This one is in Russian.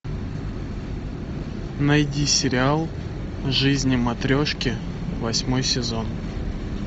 найди сериал жизни матрешки восьмой сезон